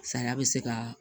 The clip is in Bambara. Saya bɛ se kaa